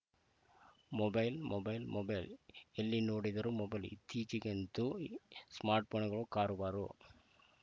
mobile mobile mobile ಎಲ್ಲಿ ನೋಡಿದರೂ mobile ಇತ್ತೀಚೆಗಂತೂ ಸ್ಮಾರ್ಟ್‌ಫೋನ್‌ಗಳು ಕಾರುಬಾರು